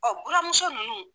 buramuso ninnu